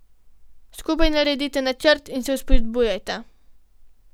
Skupaj naredita načrt in se vzpodbujajta.